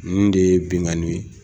Nin de ye binkani de ye.